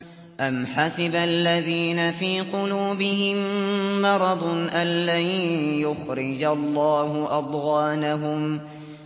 أَمْ حَسِبَ الَّذِينَ فِي قُلُوبِهِم مَّرَضٌ أَن لَّن يُخْرِجَ اللَّهُ أَضْغَانَهُمْ